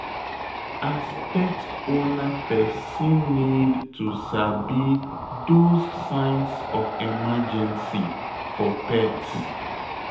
As pet owner person need to sabi those signs of emergency for pet